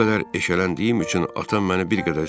Bu qədər eşələndiyim üçün atam məni bir qədər söydü.